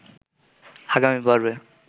আগামী পর্বে